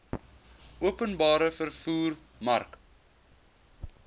openbare vervoer mark